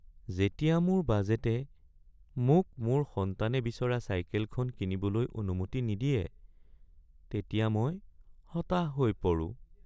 যেতিয়া মোৰ বাজেটে মোক মোৰ সন্তানে বিচৰা চাইকেলখন কিনিবলৈ অনুমতি নিদিয়ে তেতিয়া মই হতাশ হৈ পৰো।